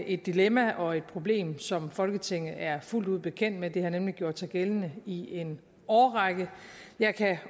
et dilemma og et problem som folketinget er fuldt ud bekendt med det har nemlig gjort sig gældende i en årrække jeg kan